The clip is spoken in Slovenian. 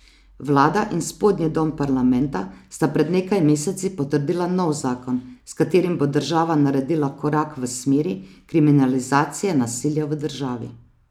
Vlada in spodnji dom parlamenta sta pred nekaj meseci potrdila nov zakon, s katerim bo država naredila korak v smeri kriminalizacije nasilja v družini.